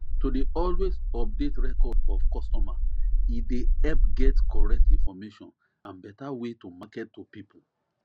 to dey always update record of customer e dey help get correct information and better way to market to people